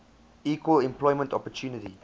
equal employment opportunity